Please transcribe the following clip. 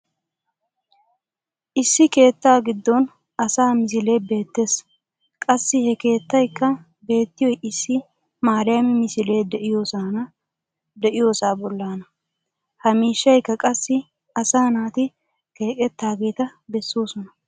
issi keettaa giddon asaa misilee beettees. qassi ha keettaykka beettiyoy issi maariyaami misilee diyoosaa bollaana. Ha miishshaykka qassi asa naati keqqetaageeta bessoosona.